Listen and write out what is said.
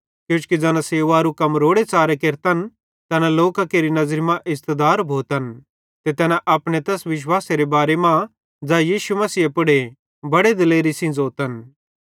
किजोकि ज़ैना सेवकेरू कम रोड़े च़ारे केरतन तैना लोकां केरि नज़री मां इज़्ज़तदार भोतन ते तैना अपने तैस विश्वासेरे बारे मां ज़ै यीशु मसीहे पुड़े बड़े दिलेरी सेइं ज़ोतन